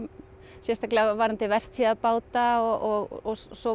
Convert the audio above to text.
sérstaklega varðandi vertíðarbáta og svo